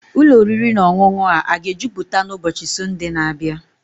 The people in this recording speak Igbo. Ụlọ oriri na ọṅụṅụ a aga ejupụta n'ụbọchị Sọnde na-abịa?